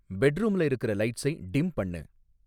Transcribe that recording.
பெட்ரூம்ல இருக்குற லைட்ஸை டிம் பண்ணு